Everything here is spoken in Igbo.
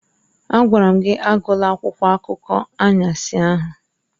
Agwara m gị agụla akwụkwọ akụkọ anwansi ahụ.